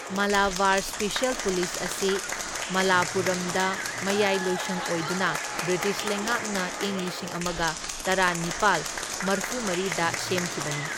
Malabar special police ꯑꯁꯤ ꯃꯥꯂꯥꯄꯨꯔꯝꯗ ꯃꯌꯥꯏꯂꯣꯏꯁꯪ ꯑꯣꯏꯗꯨꯅ ꯕ꯭ꯔꯤꯇꯤꯁ ꯂꯩꯉꯥꯛꯅ ꯏꯪ ꯂꯤꯁꯤꯡ ꯑꯃꯒ ꯇꯔꯥꯅꯤꯄꯥꯜ ꯃꯔꯐꯨꯃꯔꯤꯗ ꯁꯦꯝꯈꯤꯕꯅꯤ,꯫